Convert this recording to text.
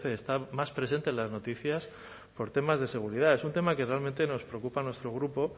está más presente en las noticias por temas de seguridad es un tema que realmente nos preocupa a nuestro grupo